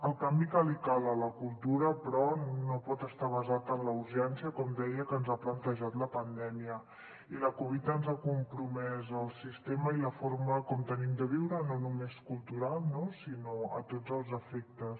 el canvi que li cal a la cultura però no pot estar basat en la urgència com deia que ens ha plantejat la pandèmia i la covid ens ha compromès el sistema i la forma com tenim de viure no només cultural no sinó a tots els efectes